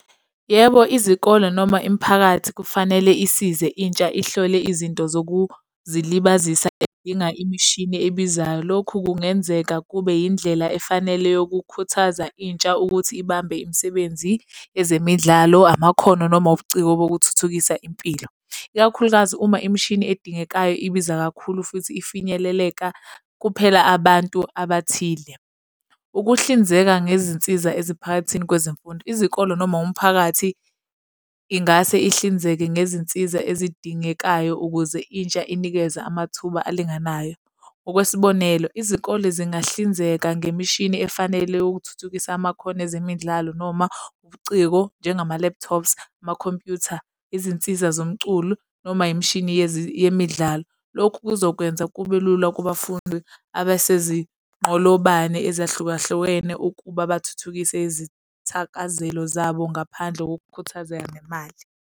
Yebo, izikole noma imiphakathi kufanele isize intsha ihlole izinto zokuzilibazisa ezidinga imishini ebizayo. Lokhu kungenzeka kube indlela efanele yokukhuthaza intsha ukuthi ibambe imisebenzi ezemidlalo, amakhono noma ubuciko bokuthuthukisa impilo. Ikakhulukazi uma imishini edingekayo ibiza kakhulu futhi ifinyeleleka kuphela abantu abathile. Ukuhlinzeka ngezinsiza eziphakathini kwezemfundo. Izikole noma umphakathi ingase ihlinzeke ngezinsiza ezidingekayo ukuze intsha inikeze amathuba alinganayo. Ngokwesibonelo, izikole zingahlinzeka ngemishini efanele ukuthuthukisa amakhono ezemidlalo noma ubuciko, njengama-laptops, amakhompyutha izinsiza zomculo noma imishini yemidlalo. Lokhu kuzokwenza kube lula kubafundi abasezinqolobane ezahlukahlukene ukuba bathuthukise izithakazelo zabo ngaphandle kokukhuthazeka ngemali.